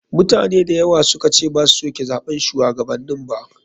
Mutane dayawa sukace basu suke zaɓan shuwagabanni ba.